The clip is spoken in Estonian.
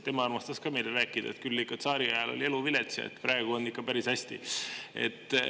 Tema armastas ka meile rääkida, et küll ikka tsaariajal oli elu vilets ja praegu on ikka päris hästi.